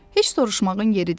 Heç soruşmağın yeridir?